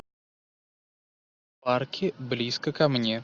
арки близко ко мне